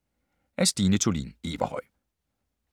Af Stine Thulin Everhøj